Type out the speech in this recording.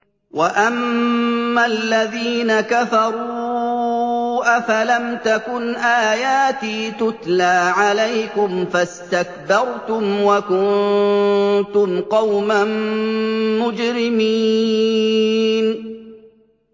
وَأَمَّا الَّذِينَ كَفَرُوا أَفَلَمْ تَكُنْ آيَاتِي تُتْلَىٰ عَلَيْكُمْ فَاسْتَكْبَرْتُمْ وَكُنتُمْ قَوْمًا مُّجْرِمِينَ